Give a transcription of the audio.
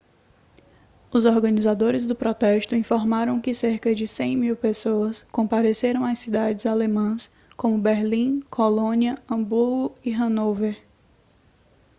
os organizadores do protesto informaram que cerca de 100.000 pessoas compareceram a cidades alemãs como berlim colônia hamburgo e hanover